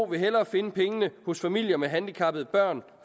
vil hellere finde pengene hos familier med handicappede børn